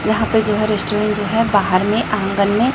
यहाँ पर जो है रेस्टोरेंट जो है बाहर में आंगन में --